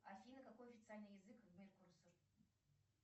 афина какой официальный язык в